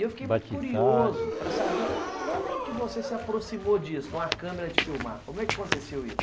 E eu fiquei muito curioso para saber como você se aproximou disso, de uma câmera de filmar, como é que aconteceu isso?